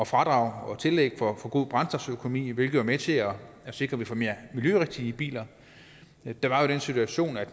fradrag og tillæg for god brændstoføkonomi hvilket med til at sikre mere miljørigtige biler der var jo den situation at